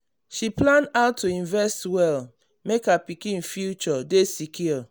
she plan how to invest well make her pikin future dey secure